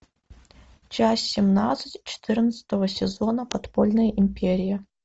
часть семнадцать четырнадцатого сезона подпольная империя